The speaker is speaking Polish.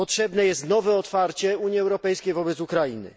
Potrzebne jest nowe otwarcie Unii Europejskiej wobec Ukrainy.